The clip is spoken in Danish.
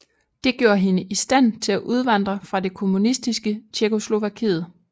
Det gjorde hende i stand til at udvandre fra det kommunistiske Tjekkoslovakiet